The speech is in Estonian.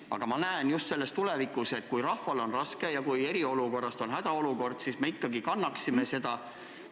Aga ma pean õigeks, et kui rahval on raske ja kui eriolukorrast on saanud hädaolukord, siis ikkagi ka meie kannaksime seda raskust.